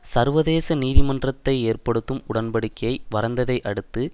சர்வதேச நீதிமன்றத்தை ஏற்படுத்தும் உடன்படிக்கையை வரைந்ததை அடுத்து